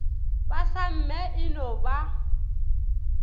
ba samme e no ba